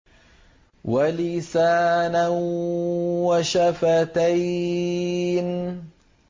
وَلِسَانًا وَشَفَتَيْنِ